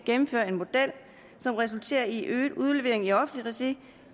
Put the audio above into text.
gennemføre en model som resulterer i øget udlevering i offentlig regi